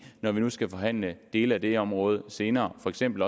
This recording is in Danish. når nu vi skal forhandle dele af det her område senere for eksempel